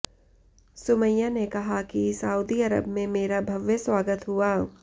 सुमैया ने कहा कि सऊदी अरब में मेरा भव्य स्वागत हुआ